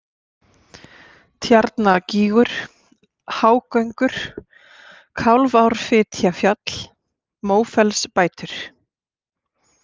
Tjarnagígur, Hágöngur, Kálfárfitjafjall, Mófellsbætur